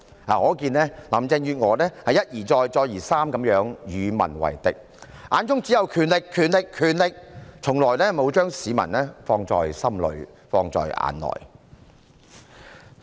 可見林鄭月娥一而再，再而三地與民為敵，眼中只有權力、權力、權力，從來沒有將市民放在心裏、放在眼內。